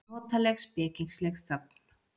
Notaleg, spekingsleg þögn.